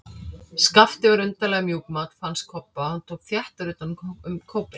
Skapti var undarlega mjúkmáll, fannst Kobba, og hann tók þéttar utan um kópinn.